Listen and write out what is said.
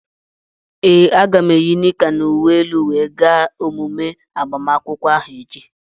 Ee, aga m eyi nika na uwe elu wee gaa emume agbamakwụkwọ ahu echi.